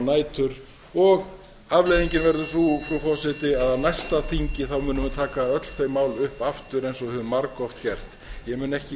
nætur og afleiðingin verður sú frú forseti að á næsta þingi munum við taka öll þau mál upp aftur eins og hefur margoft gerst ég mun